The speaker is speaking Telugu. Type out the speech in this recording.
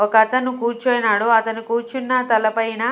ఒకతను కూర్చున్నాడు అతను కూర్చున్న తలపైన.